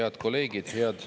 Head kolleegid!